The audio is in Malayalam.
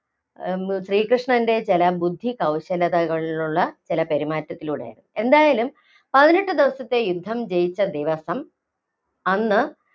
ശ്രീകൃഷ്ണന്‍റെ ചില ബുദ്ധി കൗശലതകളിലുള്ള ചില പെരുമാറ്റത്തിലൂടെയാണ്. എന്തായാലും പതിനെട്ട് ദിവസത്തെ യുദ്ധം ജയിച്ച ദിവസം അന്ന്